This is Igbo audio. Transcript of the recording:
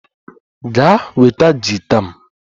Gaa ma nweta gita m!